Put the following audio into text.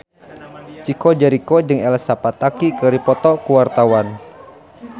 Chico Jericho jeung Elsa Pataky keur dipoto ku wartawan